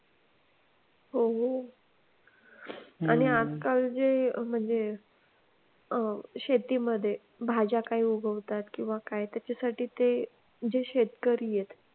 हम्म कालचे म्हणजे शेतीमध्ये भाज्या काही उगवताना किंवा काय त्याच्यासाठी ते जे शेतकरी आहेत.